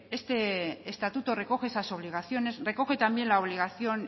este estatuto recoge esas obligaciones recoge también la obligación